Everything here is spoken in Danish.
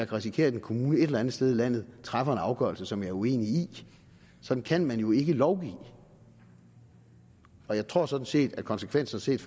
risikere at en kommune et eller andet sted i landet træffer en afgørelse som jeg er uenig i sådan kan man jo ikke lovgive jeg tror sådan set at konsekvenserne set